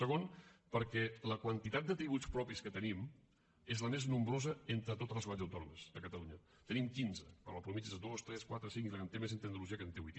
segon perquè la quantitat de tributs propis que tenim és la més nombrosa entre totes les comunitats autònomes a catalunya en tenim quinze quan la mitjana és dos tres quatre cinc i la que en té més és andalusia que en té vuit